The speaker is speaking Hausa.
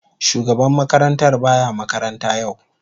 Shugaban makarantar ba ya makaranta yau.